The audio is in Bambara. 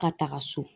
Ka taga so